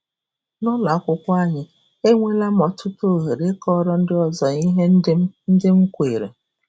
“ N’ụlọ akwụkwọ anyị, enweela m ọtụtụ ohere ịkọrọ ndị ọzọ ihe ndị m ndị m kweere.